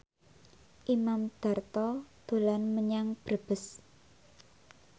Imam Darto dolan menyang Brebes